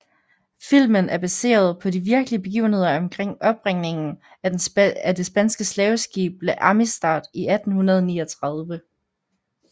Filmen er baseret på de virkelige begivender omkring opbringningen af det spanske slaveskib La Amistad i 1839